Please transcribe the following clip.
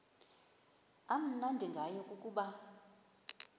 amnandi ngayo kukuba